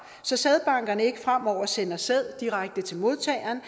så sædbankerne ikke fremover sender sæd direkte til modtageren